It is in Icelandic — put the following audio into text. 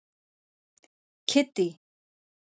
Kiddý